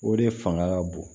O de fanga ka bon